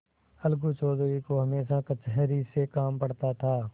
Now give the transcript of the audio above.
अलगू चौधरी को हमेशा कचहरी से काम पड़ता था